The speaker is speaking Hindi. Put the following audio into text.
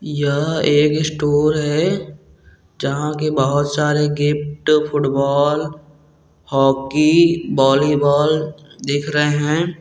यह एक स्टोर है जहां कि बहुत सारे gift football hockey volleyball दिख रहे है।